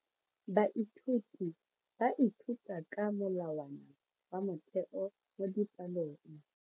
Baithuti ba ithuta ka molawana wa motheo mo dipalong.